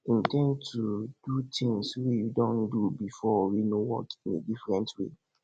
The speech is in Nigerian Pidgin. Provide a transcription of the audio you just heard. in ten d to do things wey you don do before wey no work in a different way